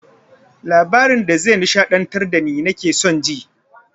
Labarin da ze nishaɗantar dani nake son ji